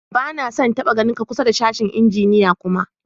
Ba na son n'taba ganin ka kusa da sashen injiniya kuma!